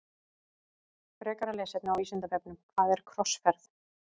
Frekara lesefni á Vísindavefnum Hvað er krossferð?